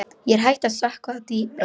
Er hægt að sökkva dýpra?